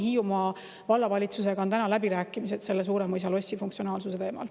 Hiiumaa Vallavalitsusega käivad praegu läbirääkimised Suuremõisa lossi funktsionaalsuse teemal.